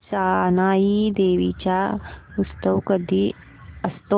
जानाई देवी चा उत्सव कधी असतो